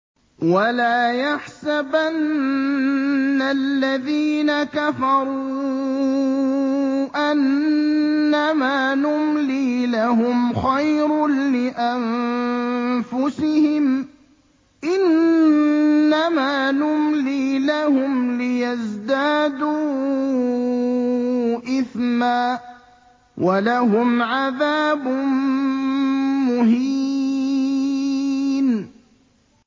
وَلَا يَحْسَبَنَّ الَّذِينَ كَفَرُوا أَنَّمَا نُمْلِي لَهُمْ خَيْرٌ لِّأَنفُسِهِمْ ۚ إِنَّمَا نُمْلِي لَهُمْ لِيَزْدَادُوا إِثْمًا ۚ وَلَهُمْ عَذَابٌ مُّهِينٌ